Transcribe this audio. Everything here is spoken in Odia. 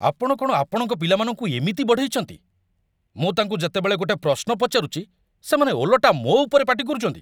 ଆପଣ କ'ଣ ଆପଣଙ୍କ ପିଲାମାନଙ୍କୁ ଏମିତି ବଢ଼େଇଚନ୍ତି? ମୁଁ ତାଙ୍କୁ ଯେତେବେଳେ ଗୋଟେ ପ୍ରଶ୍ନ ପଚାରୁଚି, ସେମାନେ ଓଲଟା ମୋ' ଉପରେ ପାଟି କରୁଚନ୍ତି ।